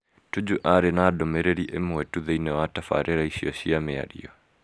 Tuju arĩ na ndũmĩrĩri ĩmwe tu thĩinĩ wa tabarĩra iciio cia mĩario.